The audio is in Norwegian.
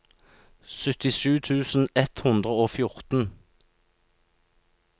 syttisju tusen ett hundre og fjorten